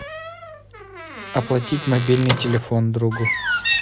оплатить мобильный телефон другу